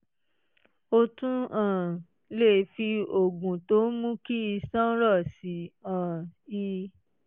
o tún um lè fi oògùn tó ń mú kí iṣan rọ̀ sí um i